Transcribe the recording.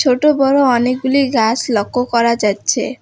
ছোট-বড় অনেকগুলি গাছ লক্ষ্য করা যাচ্ছে।